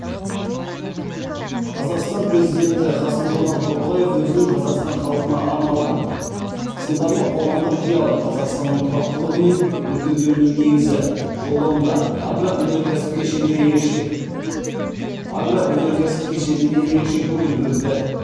қазақстан президенті қасым жомарт тоқаев өзінің қазақстан халқына арналған сындарлы қоғамдық диалог қазақстанның тұрақтылығы мен өркендеуінің негізі жолдауында агроөнеркәсіп кешеніне ерекше көңіл бөлді